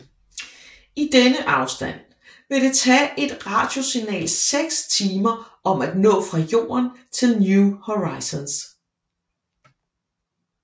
I denne afstand vil det tage et radiosignal 6 timer om at nå fra Jorden til New Horizons